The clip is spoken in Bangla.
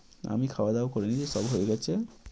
আমি খাওয়া দাওয়া করিনি, সব হয়ে গেছে।